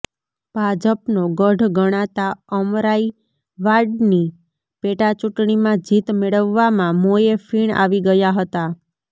ભાજપનો ગઢ ગણાતા અમરાઇવાડની પેટા ચૂંટણીમાં જીત મેળવવામાં મોંએ ફીણ આવી ગયા હતા